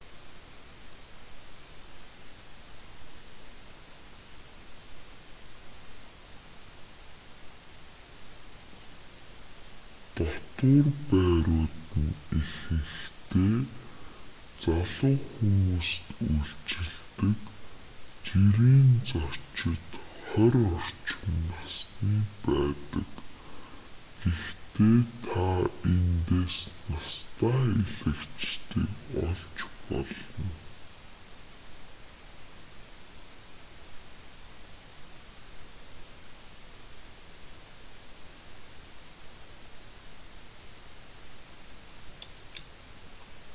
дотуур байрууд нь ихэнхдээ залуу хүмүүст үйлчилдэг жирийн зочид хорь орчим насны байдаг гэхдээ та тэндээс настай аялагчдыг олж болно